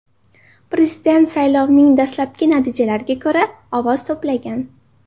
Prezident saylovining dastlabki natijalariga ko‘ra, ovoz to‘plagan.